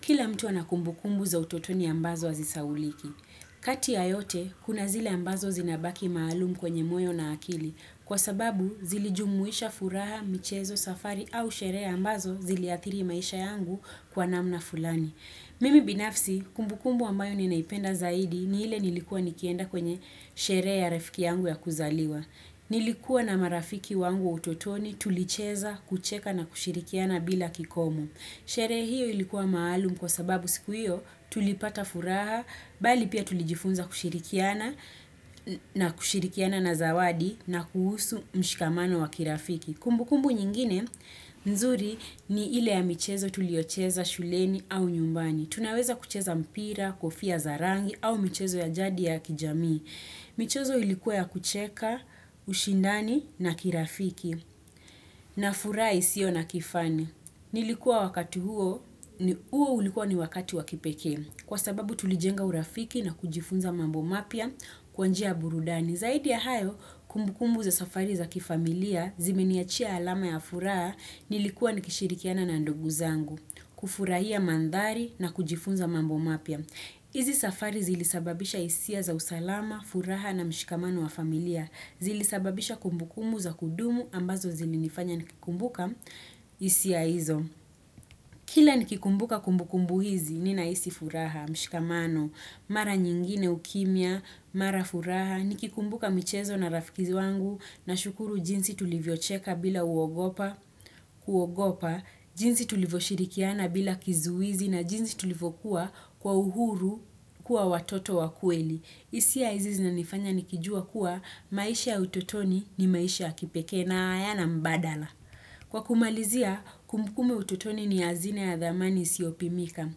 Kila mtu anakumbukumbu za utotoni ambazo azisauliki. Kati ya yote, kuna zile ambazo zinabaki maalumu kwenye moyo na akili. Kwa sababu, zilijumuisha furaha, michezo, safari au sherea ambazo ziliathiri maisha yangu kwa namna fulani. Mimi binafsi, kumbukumbu ambayo ninaipenda zaidi ni hile nilikuwa nikienda kwenye sherea ya refiki yangu ya kuzaliwa. Nilikuwa na marafiki wangu utotoni tulicheza, kucheka na kushirikiana bila kikomo. Sherehe hiyo ilikuwa maalum kwa sababu siku hiyo tulipata furaha, bali pia tulijifunza kushirikiana na kushirikiana na zawadi na kuhusu mshikamano wa kirafiki. Kumbu kumbu nyingine, nzuri ni ile ya michezo tuliocheza shuleni au nyumbani. Tunaweza kucheza mpira, kofia zarangi au michezo ya jadi ya kijamii. Michezo ilikuwa ya kucheka, ushindani na kirafiki. Na furahi sio na kifani. Nilikuwa wakati huo, huo ulikuwa ni wakati wakipeke, kwa sababu tulijenga urafiki na kujifunza mambo mapia kwa njia burudani. Zaidi ya hayo, kumbukumbu za safari za kifamilia, zimeniachia alama ya furaha, nilikuwa nikishirikiana na ndugu zangu, kufurahia mandari na kujifunza mambo mapia. Izi safari zili sababisha isia za usalama, furaha na mshikamano wa familia. Zili sababisha kumbukumu za kudumu ambazo zili nifanya nikikumbuka isia hizo. Kila nikikumbuka kumbukumbu hizi nina isi furaha, mshikamano, mara nyingine ukimia, mara furaha. Nikikumbuka michezo na rafikizi wangu na shukuru jinsi tulivyocheka bila uogopa, jinsi tulivyo shirikiana bila kizuizi na jinsi tulivokuwa kwa uhuru kuwa watoto wakueli. Isi ya izi na nifanya nikijua kuwa maisha ututoni ni maisha kipekee na hayana mbadala. Kwa kumalizia, kumbukumbu utotoni ni azine ya dhamani siopimika.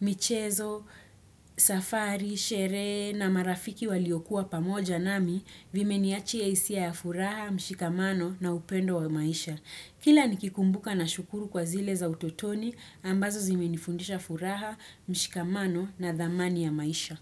Michezo, safari, shere na marafiki waliokuwa pamoja nami vimeniachi ya isia ya furaha, mshikamano na upendo wa maisha. Kila nikikumbuka na shukuru kwa zile za utotoni ambazo zimenifundisha furaha, mshikamano na dhamani ya maisha.